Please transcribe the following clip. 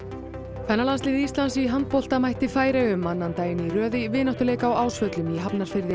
kvennalandslið Íslands í handbolta mætti Færeyjum annan daginn í röð í vináttuleik á Ásvöllum í Hafnarfirði